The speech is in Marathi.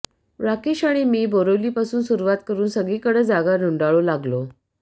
राकेश आणि मी बोरिवलीपासून सुरुवात करून सगळीकडं जागा धुंडाळू लागलो